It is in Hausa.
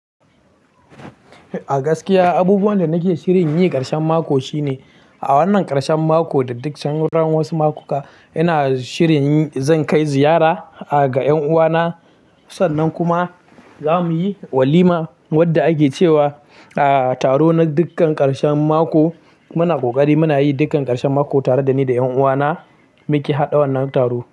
A gaskiya, abubuwan da nake shirin yi ƙarshen mako shine a wannan ƙarshen mako da duk sauran wasu makuka ina shirin zan kai ziyara ga ƴan uwana. Sannan kuma za mu yi walima wadda ake cewa taro na dukkan ƙarshen mako. Muna ƙoƙari muna yi dukkan ƙarshen mako tare da ni da ƴan uwana muke haɗa wannan taro.